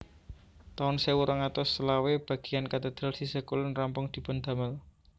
taun sewu rong atus selawe bagéyan katedral sisih kulon rampung dipun damel